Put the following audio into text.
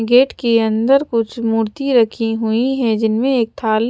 gate के अन्दर कुछ मूर्ति रखी हुई है जिनमे एक थाल--